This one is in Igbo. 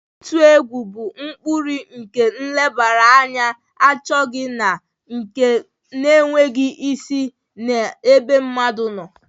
Ịtụ egwu bụ ụkpụrụ nke nlebara anya achọghị na nke na-enweghị isi n'ebe mmadụ nọ.